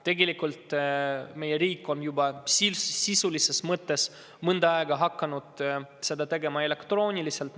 Tegelikult on meie riik sisulises mõttes juba mõnda aega teinud seda kõike elektrooniliselt.